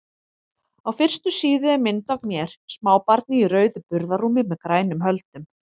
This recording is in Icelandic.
Á fyrstu síðu er mynd af mér, smábarni í rauðu burðarrúmi með grænum höldum.